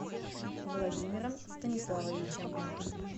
владимиром станиславовичем